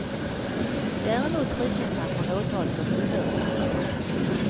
Däremot frikänns han från åtalet om ohörsamhet.